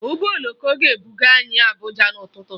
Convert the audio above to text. Ụgbọ oloko ga-ebuga anyị Abuja n'ụtụtụ